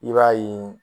I b'a ye